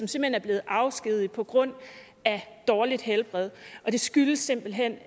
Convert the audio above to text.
som er blevet afskediget på grund af dårligt helbred og det skyldes simpelt hen